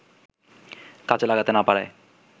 কাজে লাগাতে না পারায়